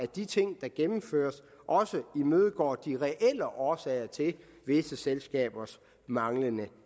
de ting der gennemføres også imødegår de reelle årsager til visse selskabers manglende